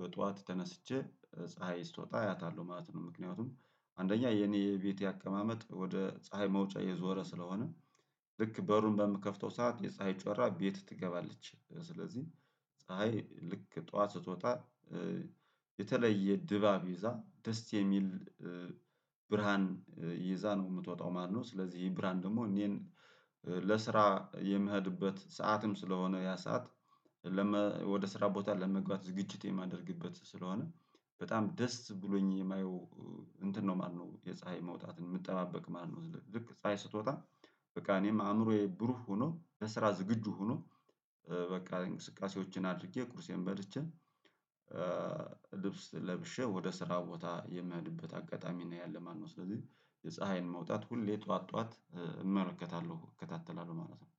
በጧት ተነስቼ ፀሀይ ስትወጣ አያታለሁ ማለት ነው። ምክንያቱም አንደኛ የኔ ቤቴ አቀማመጥ ወደ ፀሀይ መውጫ የዞረ ስለሆነ። ልክ በሩን በምከፍተው ሰዓት የፀሀይ ጮራ ቤት ትገባለች ስለዚህ። ፀሀይ ልክ ጠዋት ስትወጣ የተለየ ድባብ ይዛ ደስ የሚል ብርሃን ይዛ ነው የምትወጣው ማለት ነው። ስለዚህ ብርሃን ደግሞ እኔን ለስራ የምሄድበት ሰዓትም ስለሆነ ያ ሰዓት። ወደ ስራ ቦታ ለመግባት ዝግጅት የማደርግበት ስለሆነ በጣም ደስ ብሎኝ የማየው እንትን ነው ማለት ነው። የፀሀይ መውጣትን የምጠባበቅ ማለት ነው። ልክ ፀሀይ ስትወጣ በቃ እኔም አእምሮዬ ብሩህ ሆኖ ለስራ ዝግጁ ሆኖ። በቃ እንቅስቃሴዎችን አድርጌ ቁርሴን በልቼ ልብስ ለብሼ ወደ ስራ ቦታ የሚሄድበት አጋጣሚ ነው ያለ ማለት ነው። ስለዚህ የፀሀይን መውጣት ሁሌ ጠዋት ጠዋት እመለከታለሁ እከታተላለሁ ማለት ነው